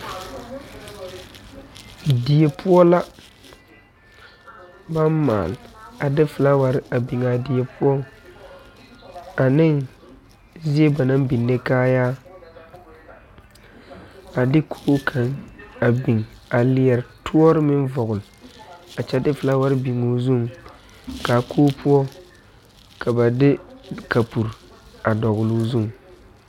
Die poɔ la baŋ maale a de flaawarre a biŋaa die poɔ aneŋ zie ba naŋ biŋne kaayaa a de koge kaŋ a biŋ a leɛre toɔre meŋ vɔgle a kyɛ de flaawarre biŋoo zuŋ kaa koge poɔ ka ba de kapure a dɔgloo zuŋ.